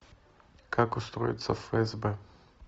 как устроиться в фсб